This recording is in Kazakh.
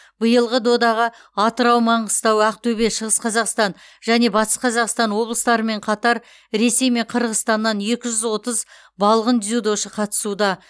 биылғы додаға атырау маңғыстау ақтөбе шығыс қазақстан және батыс қазақстан облыстарымен қатар ресей мен қырғызстаннан екі жүз отыз балғын дзюдошы қатысуда